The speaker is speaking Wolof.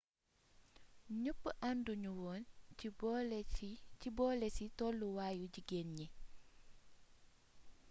ñepp anduñu woon ci boolési tollu waayu jigeen ñi